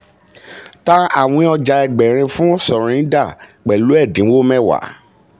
tà àwìn ọja ẹgbẹ̀rin fún surinder pẹ̀lú ẹ̀dínwó mẹ́wàá.